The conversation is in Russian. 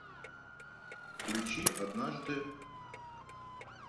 включи однажды